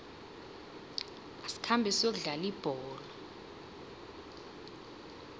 asikhambe siyokudlala ibholo